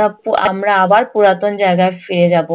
আমরা আবার আমার পুরাতন জায়গায় ফিরে যাবো।